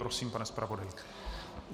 Prosím, pane zpravodaji.